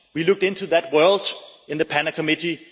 We looked into that world in the PANA Committee.